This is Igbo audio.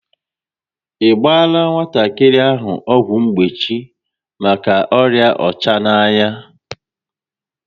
I gbaala nwatakịrị ahụ ọgwụ mgbochi maka ọrịa ọchananya?